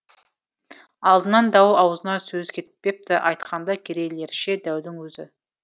алдынан дау аузынан сөз кетпепті айтқанда керейлерше дәудің өзі